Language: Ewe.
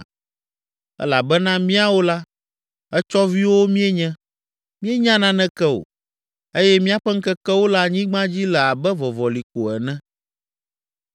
elabena míawo la, etsɔviwo míenye, míenya naneke o eye míaƒe ŋkekewo le anyigba dzi le abe vɔvɔli ko ene.